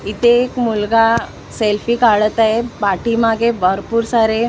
इथे एक मुलगा सेल्फी काढत आहे पाठीमागे भरपूर सारे --